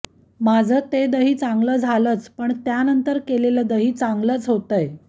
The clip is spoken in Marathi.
माझं ते दही चांगलं झालंच पण त्यानंतर केलेलं दही चांगलं होतंय